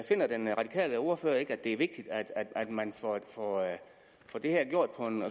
finder den radikale ordfører ikke at det er vigtigt at man får det her gjort på en